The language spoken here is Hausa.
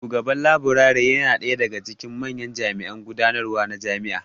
Shugaban Laburare yana ɗaya daga cikin manyan jami'an gudanarwa na jami'a